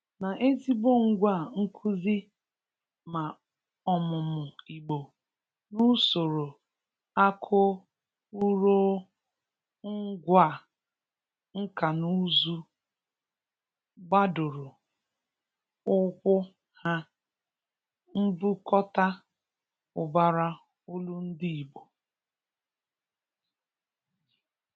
na ezigbo ngwa nkụzi ma ọmụmụ Igbo n'usoro nkanụụzụ gbadoro ụkwụ ha mbukọta ụbara olundị Igbo.